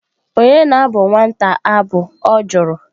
Onye na-abụ nwata abụ?Ọ jụrụ.